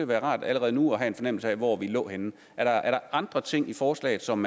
være rart allerede nu at have en fornemmelse af hvor vi lå henne er er der andre ting i forslaget som